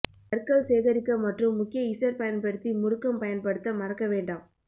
கற்கள் சேகரிக்க மற்றும் முக்கிய இசட் பயன்படுத்தி முடுக்கம் பயன்படுத்த மறக்க வேண்டாம்